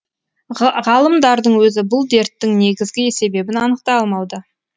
ғалымдардың өзі бұл дерттің негізгі себебін анықтай алмауда